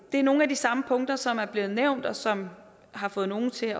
er nogle af de samme punkter som er blevet nævnt og som har fået nogle til